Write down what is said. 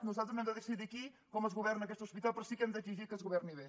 nosaltres no hem de decidir aquí com es governa aquest hospital però sí que hem d’exi·gir que es governi bé